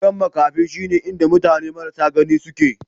Gidan maƙafi shine inda mutane marasa gani suke.